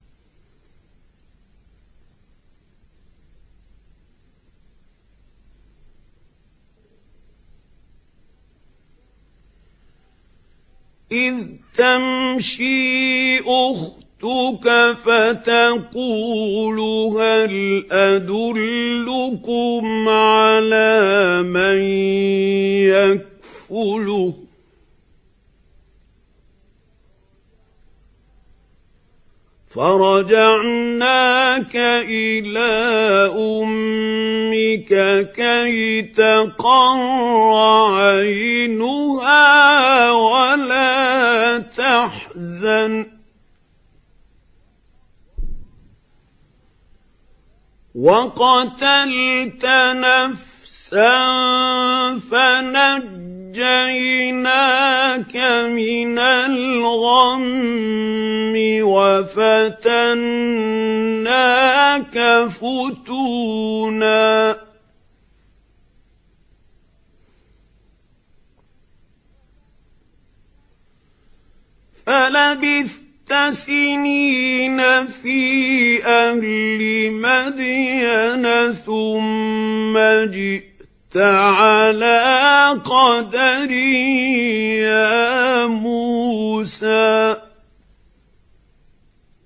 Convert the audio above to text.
إِذْ تَمْشِي أُخْتُكَ فَتَقُولُ هَلْ أَدُلُّكُمْ عَلَىٰ مَن يَكْفُلُهُ ۖ فَرَجَعْنَاكَ إِلَىٰ أُمِّكَ كَيْ تَقَرَّ عَيْنُهَا وَلَا تَحْزَنَ ۚ وَقَتَلْتَ نَفْسًا فَنَجَّيْنَاكَ مِنَ الْغَمِّ وَفَتَنَّاكَ فُتُونًا ۚ فَلَبِثْتَ سِنِينَ فِي أَهْلِ مَدْيَنَ ثُمَّ جِئْتَ عَلَىٰ قَدَرٍ يَا مُوسَىٰ